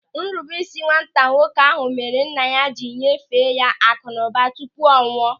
Nrubeisi nwata nwoke ahụ mere nna ya jiri nyefee ya akụnụba tupu ọ nwụọ.